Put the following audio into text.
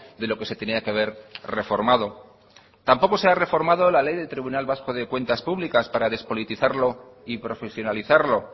de lo que se tenía que haber reformado tampoco se ha reformado la ley del tribunal vasco de cuentas públicas para despolitizarlo y profesionalizarlo